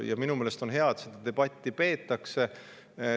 Ja minu meelest on hea, et seda debatti peetakse.